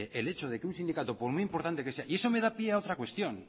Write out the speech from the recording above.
el hecho de que un sindicato por muy importante que sea y eso me da pie a otra cuestión